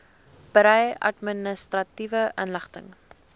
berei administratiewe inligting